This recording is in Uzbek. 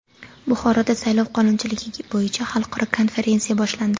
Buxoroda saylov qonunchiligi bo‘yicha xalqaro konferensiya boshlandi.